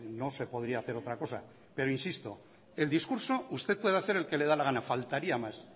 no se podría hacer otra cosa pero insisto el discurso usted puede hacer el que le da la gana faltaría más